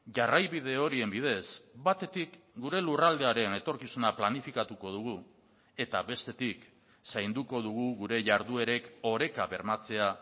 jarraibide horien bidez batetik gure lurraldearen etorkizuna planifikatuko dugu eta bestetik zainduko dugu gure jarduerek oreka bermatzea